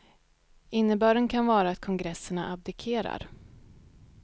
Innebörden kan vara att kongresserna abdikerar.